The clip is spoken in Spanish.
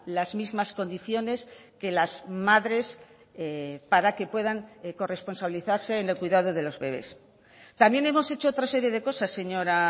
las mismas condiciones que las madres para que puedan corresponsabilizarse en el cuidado de los bebés también hemos hecho otra serie de cosas señora